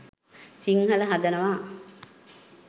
සිංහල හදනවා.